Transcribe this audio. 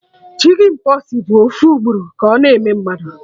Chicjen pox bụ ofu ugboro ka ọ na-eme mmadụ